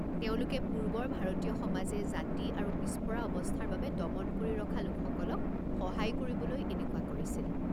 তেওঁলোকে পূৰ্বৰ ভাৰতীয় সমাজে জাতি আৰু পিছপৰা অৱস্থাৰ বাবে দমন কৰি ৰখা লোকসকলক সহায় কৰিবলৈ এনেকুৱা কৰিছিল।